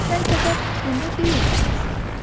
Sən səfər fikrində deyilsən əsla.